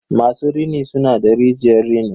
masu rini suna da rijiyar rini.